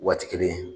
Waati kelen